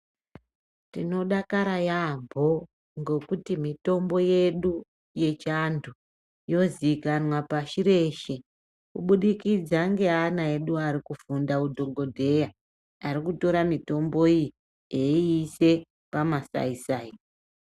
Tinodakara yambo ngekuti mitombo yechindau yozikanya pashireshe kuburikidza ne ana edu ari kiri kufunda kuita hudhokodheya ari kutora mitombo iyi oyiisa pa masaisai.